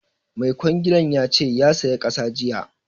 Mai kwangilan ya ce ya saya ƙasa jiya